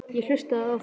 Ég hlustaði á þá.